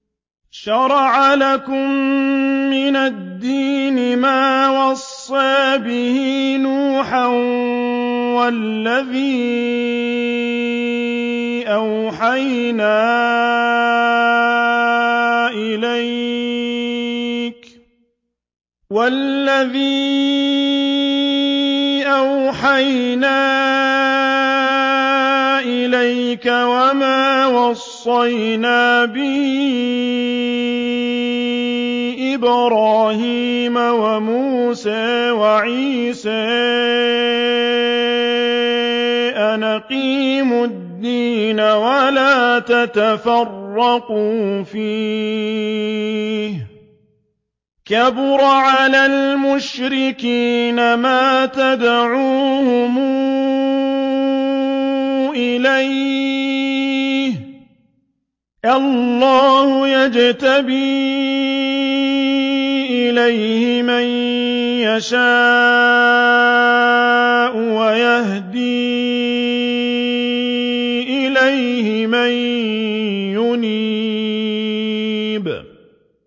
۞ شَرَعَ لَكُم مِّنَ الدِّينِ مَا وَصَّىٰ بِهِ نُوحًا وَالَّذِي أَوْحَيْنَا إِلَيْكَ وَمَا وَصَّيْنَا بِهِ إِبْرَاهِيمَ وَمُوسَىٰ وَعِيسَىٰ ۖ أَنْ أَقِيمُوا الدِّينَ وَلَا تَتَفَرَّقُوا فِيهِ ۚ كَبُرَ عَلَى الْمُشْرِكِينَ مَا تَدْعُوهُمْ إِلَيْهِ ۚ اللَّهُ يَجْتَبِي إِلَيْهِ مَن يَشَاءُ وَيَهْدِي إِلَيْهِ مَن يُنِيبُ